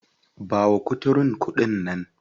Ba wa kuturun kuɗi nan.